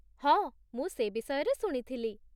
ହଁ, ମୁଁ ସେ ବିଷୟରେ ଶୁଣିଥିଲି ।